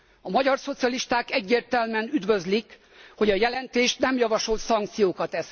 A magyar szocialisták egyértelműen üdvözlik, hogy a jelentés nem javasol szankciókat.